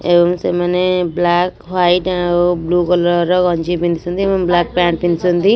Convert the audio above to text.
ଏମ୍ତି ମାନେ black white ଆଉ ବ୍ଲୁ କଲର୍ ର ଗଞ୍ଜି ପିନ୍ଧିଛନ୍ତି ଏବଂ ବ୍ଲାକ୍ ପ୍ୟାଣ୍ଟ୍ ପିନ୍ଧିଛନ୍ତି।